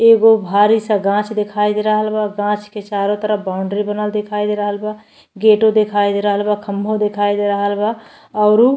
एगो भारी सा गाछ दिखाई दे रहल बा गाछ के चारों तरफ बाउंड्री बनल दिखाई दे रहल बा गेटो दिखाई दे रहल बा खम्भों दिखाई दे रहल बा औरउ --